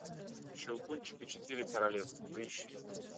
щелкунчик и четыре королевства поищи